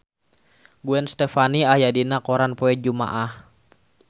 Gwen Stefani aya dina koran poe Jumaah